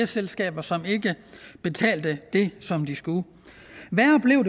selskaber som ikke betalte det som de skulle og værre blev